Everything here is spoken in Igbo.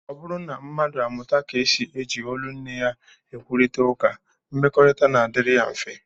Ọ bụrụ na mmadụ amụta ka e si eji olu nne ya ekwurịta ụka, mmekọrịta na-adịrị ya mfe